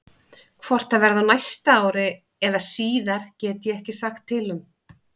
Hvort það verði á næsta ári eða síðar get ég ekki sagt til um.